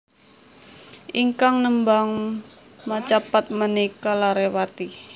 Ingkang nembang macapat menika lare Pati